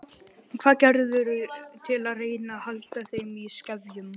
Hvað gerirðu til að reyna að halda þeim í skefjum?